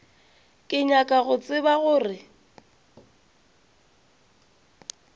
ke nyaka go tseba gore